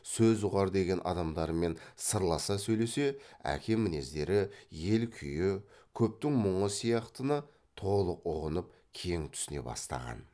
сөз ұғар деген адамдарымен сырласа сөйлесе әке мінездері ел күйі көптің мұңы сияқтыны толық ұғынып кең түсіне бастаған